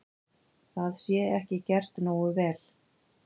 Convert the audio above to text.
Það sé ekki gert nógu vel.